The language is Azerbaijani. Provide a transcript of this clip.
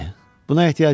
Buna ehtiyac yoxdur.